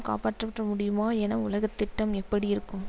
காப்பாற்றப்பட்ட முடியுமா உலக திட்டம் எப்படி இருக்கும்